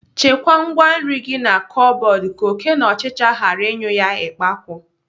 Chekwaa ngwaa nri gị na kọbọd ka oké na ọchịchị ghara ịnyụ ya ikpakwu.